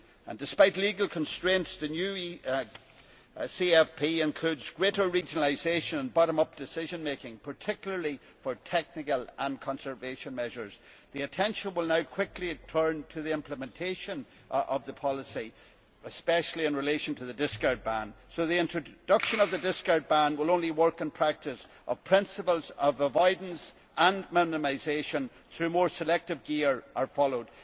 And despite legal constraints the new CFP includes greater regionalisation and bottom up decision making, particularly for technical and conservation measures. The attention will now quickly turn to the implementation of the policy, especially in relation to the discard ban. So the introduction of the discard ban will only work in practice if principles of avoidance and minimisation through more selective gear are followed.